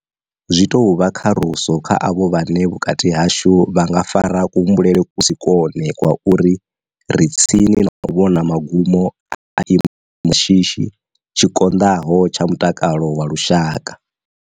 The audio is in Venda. Zwi tou vha kharuso kha avho vhane vhukati hashu vha nga fara ku humbulele ku si kwone kwa uri ri tsini na u vhona magumo a tshi imo tsha shishi tshi konḓaho tsha mutakalo wa lushaka.